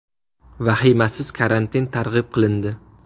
Vahimasiz karantin targ‘ib qilindi.